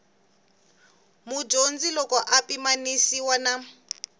mudyondzi loko ya pimanisiwa na